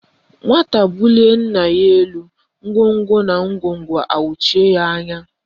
Nwata bulie nna ya elu, ngwongwo na ngwongwo awachie ya anya